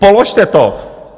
Položte to!